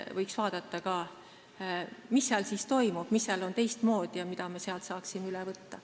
Võiks vaadata, mis nendes maades toimub, mis seal on teistmoodi ja mida me sealt saaksime üle võtta.